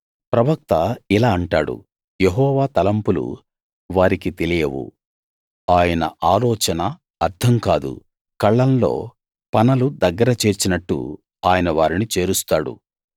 ప్రవక్త ఇలా అంటాడు యెహోవా తలంపులు వారికి తెలియవు ఆయన ఆలోచన అర్థం కాదు కళ్లంలో పనలు దగ్గర చేర్చినట్టు ఆయన వారిని చేరుస్తాడు